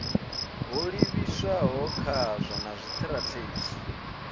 ho livhiswaho khazwo na zwitirathedzhi